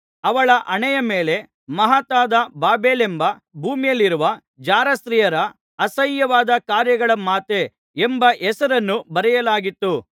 ಅವಳ ಹಣೆಯ ಮೇಲೆ ಮಹತ್ತಾದ ಬಾಬೆಲೆಂಬ ಭೂಮಿಯಲ್ಲಿರುವ ಜಾರಸ್ತ್ರೀಯರ ಅಸಹ್ಯವಾದ ಕಾರ್ಯಗಳ ಮಾತೆ ಎಂಬ ಹೆಸರನ್ನು ಬರೆಯಲಾಗಿತ್ತು